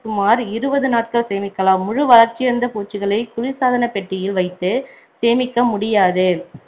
சுமார் இருபது நாட்கள் சேமிக்கலாம் முழு வள்ர்ச்சியடைந்த பூச்சிகளை குளிர் சாதனப்பெட்டியில் வைத்து சேமிக்க முடியாது